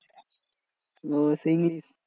ওহ সেই ইংলিশ